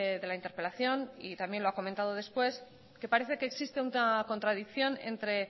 de la interpelación y también lo ha comentando después que parece que existe una contradicción entre